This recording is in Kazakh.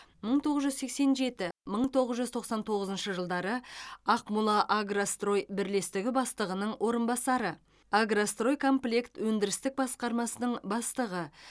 мың тоғыз жүз сексен жеті мың тоғыз жүз тоқсан тоғызыншы жылдары ақмолаагрострой бірлестігі бастығының орынбасары агростройкомплект өндірістік басқармасының бастығы